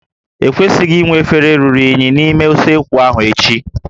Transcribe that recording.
E kwesịghị inwe efere ruru unyi n'ime usekwu ahụ echi